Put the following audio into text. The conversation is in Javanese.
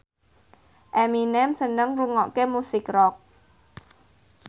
Eminem seneng ngrungokne musik rock